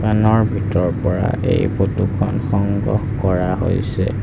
ভিতৰৰ পৰা এই ফটোখন সংগ্ৰহ কৰা হৈছে।